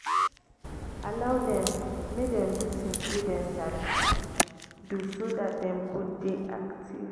allow dem make dem do things wey dem sabi do so dat dem go dey active